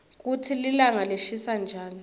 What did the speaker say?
kutsi linga lishisa njani